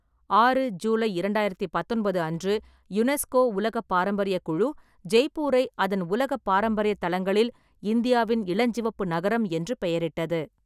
ஆறு ஜூலை இரண்டாயிரத்தி பத்தொன்பது அன்று, யுனெஸ்கோ உலக பாரம்பரியக் குழு ஜெய்ப்பூரை அதன் உலக பாரம்பரிய தளங்களில் "இந்தியாவின் இளஞ்சிவப்பு நகரம்" என்று பெயரிட்டது.